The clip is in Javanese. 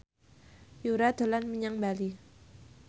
Yura dolan menyang Bali